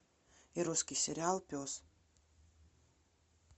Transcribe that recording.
русский сериал пес